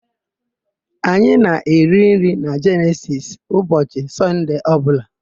Anyị na-eri nri na Jenesisi ụbọchị Sọnde ọbụla.